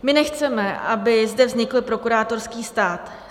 My nechceme, aby zde vznikl prokurátorský stát.